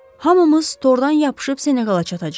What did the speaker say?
Hamımız tordan yapışıb Senegala çatacağıq.